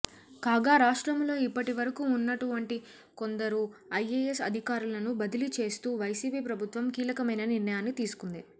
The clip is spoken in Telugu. కాగా రాష్ట్రములో ఇప్పటివరకు ఉన్నటువంటి కొందరు ఐఏఎస్ అధికారులను బదిలీ చేస్తూ వైసీపీ ప్రభుత్వం కీలకమైన నిర్ణయాన్ని తీసుకుంది